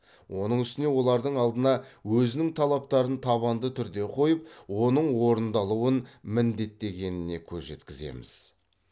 оның үстіне олардың алдына өзінің талаптарын табанды түрде қойып оның орындалуын міндеттегеніне көз жеткіземіз